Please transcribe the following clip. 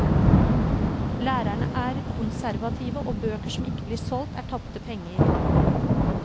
Lærerne er konservative, og bøker som ikke blir solgt, er tapte penger.